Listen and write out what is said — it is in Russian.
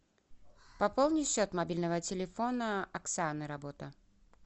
пополни счет мобильного телефона оксаны работа